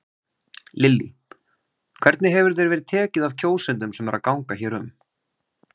Lillý: Hvernig hefur þér verið tekið af kjósendum sem eru að ganga hér um?